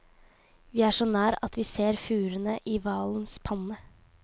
Vi er så nær at vi ser furene i hvalens panne.